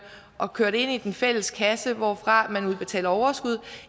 og køre det ind i den fælles kasse hvorfra man udbetaler overskud